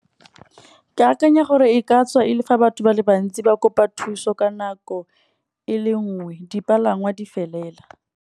Ke akanya gore e ka tswa e le fa batho ba le bantsi ba kopa thuso ka nako e le nngwe dipalangwa di felela.